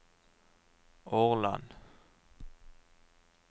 Årland